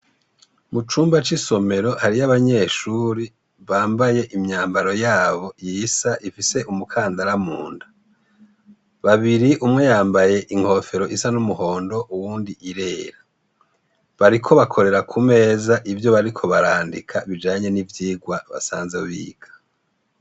Mu cumba c'isomero hariyo abanyeshuri bambaye imyambaro yabo yisa ifise umukandara munda, babiri umwe yambaye inkofero isa n'umuhondo uwundi irera, bariko bakorera ku meza ivyo bariko barandika bijanye n'ivyigwa basanze biga.